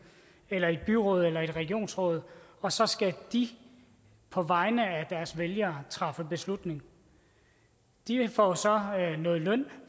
eller i byrådet eller i et regionsråd og så skal de på vegne af deres vælgere træffe en beslutning de får så noget løn